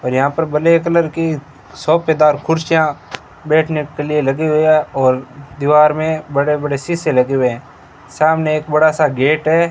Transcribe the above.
और यहां पर ब्लैक कलर की सोफेदार कुर्सियां बैठने के लिए लगी हुई है और दीवार में बड़े बड़े शीशे लगे हुए है सामने एक बड़ा सा गेट है।